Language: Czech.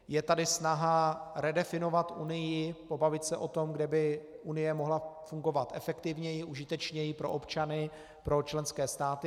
Je tady snaha redefinovat Unii, pobavit se o tom, kde by Unie mohla fungovat efektivněji, užitečněji pro občany, pro členské státy.